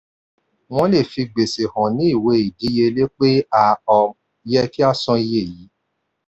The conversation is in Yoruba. wọ́n le fi gbèsè hàn ní ìwé ìdíyelé pé a um yẹ kí a san iye yìí.